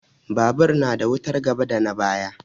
Babur na da wutar gaba da na baya.